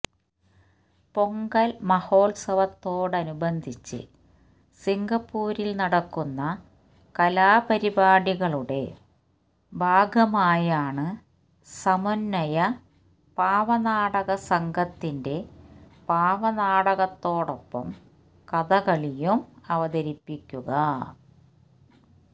പൊങ്കല് മഹോത്സവത്തോടനുബന്ധിച്ച് സിംഗപ്പൂരില് നടക്കുന്ന കലാപരിപാടികളുടെ ഭാഗമായാണ് സമന്വയ പാവനാടകസംഘത്തിന്െറ പാവനാടകത്തോടൊപ്പം കഥകളിയും അവതരിപ്പിക്കുക